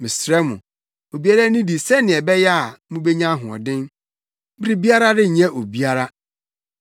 Mesrɛ mo, obiara nnidi sɛnea ɛbɛyɛ a, mubenya ahoɔden. Biribiara renyɛ obiara.”